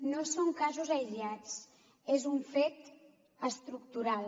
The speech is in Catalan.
no són casos aïllats és un fet estructural